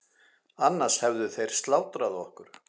Annars hefðu þeir slátrað okkur.